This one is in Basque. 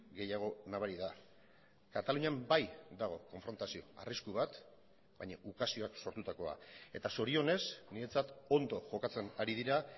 gehiago nabari da katalunian bai dago konfrontazio arrisku bat baina ukazioak sortutakoa eta zorionez niretzat ondo jokatzen ari dira